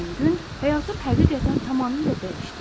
Həmin gün həyatım həqiqətən tamamilə dəyişdi.